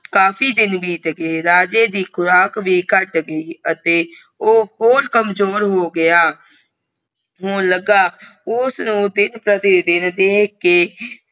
ਕਾਫੀ ਦਿਨ ਬੀਤ ਗਏ ਰਾਜੇ ਦੀ ਖੁਰਾਕ ਵੀ ਘਾਟ ਗਯੀ ਅਤੇ ਓ ਹੋਰ ਕਮਜ਼ੋਰ ਹੋ ਗਯਾ ਹੋਣ ਲੱਗਾ ਉਸ ਨੂੰ ਦਿਨ ਪ੍ਰਤੀ ਦਿਨ ਦੇਖ ਕੇ